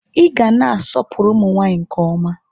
Ị ga na-asọpụrụ ụmụ nwaanyị nke ọma.